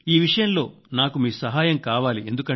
ఈ విషయంలో నాకు మీ సహాయం కావాలి